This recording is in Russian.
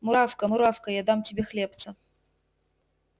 муравка муравка я дам тебе хлебца